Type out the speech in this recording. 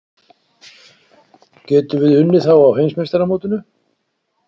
Getum við unnið þá á Heimsmeistaramótinu?